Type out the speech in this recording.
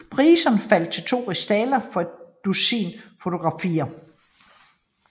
Priserne faldt til to rigsdaler for et dusin fotografier